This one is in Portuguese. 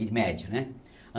E médio, né?